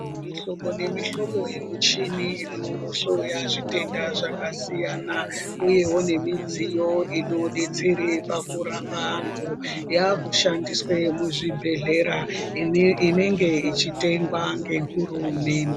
Mihlobo nemihlobo yemuchini ino hloya zvitenda zvaka siyana uyewo nemidziyo ino detsere pakurapa antu yaaku shandiswe muzvibhedhlera , inenge yechitengwa ngehurumende.